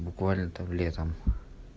буквально там летом